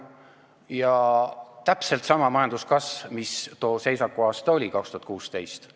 See on täpselt sama majanduskasv, mis tolle "seisaku" aastal 2016.